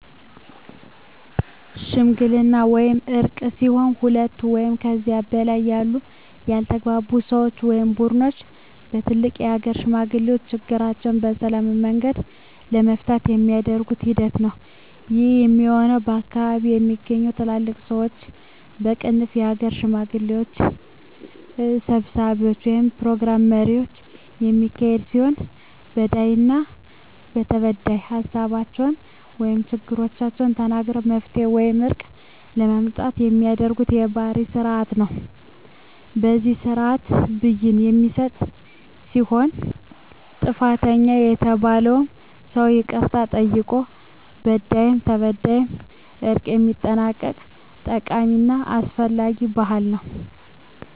ሽምግልና ወይም እርቅ ሲሆን ሁለት ወይም ከዚያ በላይ ያሉ ያልተግባቡ ሰወች ወይም ቡድኖች በትልልቅ የሀገር ሽማግሌዎች ችግራቸዉን በሰላማዊ መንገድ ለመፍታት የሚደረግ ሂደት ነዉ። ይህም የሚሆን ከአካባቢዉ በሚገኙ ትልልቅ ሰወች(የሀገር ሽማግሌዎች) ሰብሳቢነት(የፕሮግራም መሪነት) የሚካሄድ ሲሆን በዳይና ተበዳይ ሀሳባቸዉን(ችግሮቻቸዉን) ተናግረዉ መፍትሄ ወይም እርቅ ለማምጣት የሚደረግ ባህላዊ ስርአት ነዉ። በዚህ ስርአትም ብይን የሚሰጥ ሲሆን ጥፋተኛ የተባለዉም ሰዉ ይቅርታ ጠይቆ በዳይም ተበዳይም በእርቅ የሚጠናቀቅበት ጠቃሚና አስፈላጊ ባህል ነዉ።